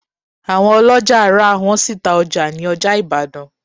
Àwọn oloja rà, wọ́n sì ta ọjà ní ọjà Ìbàdàn